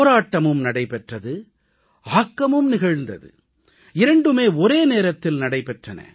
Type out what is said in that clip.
போராட்டமும் நடைபெற்றது ஆக்கமும் நிகழ்ந்தது இரண்டுமே ஒரேநேரத்தில் நடைபெற்றன